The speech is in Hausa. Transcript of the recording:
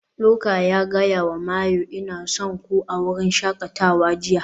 Luka ya gaya wa Mayu "Ina son ku" a wurin shakatawa jiya